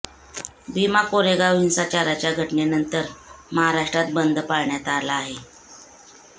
भीमा कोरेगाव हिंसाचाराच्या घटनेनंतर महाराष्ट्रात बंद पाळण्यात आला आहे